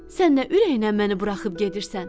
Sən nə ürəyinə məni buraxıb gedirsən?